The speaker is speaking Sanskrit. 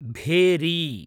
भेरी